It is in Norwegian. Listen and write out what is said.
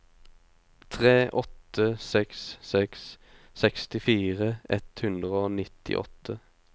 tre åtte seks seks sekstifire ett hundre og nittiåtte